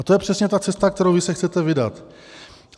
A to je přesně ta cesta, kterou vy se chcete vydat.